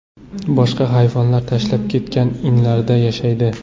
Boshqa hayvonlar tashlab ketgan inlarda yashaydi.